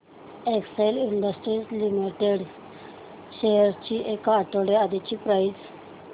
Excel Industries Limited shares ची एक आठवड्या आधीची प्राइस